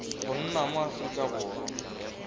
go nna mo aforika borwa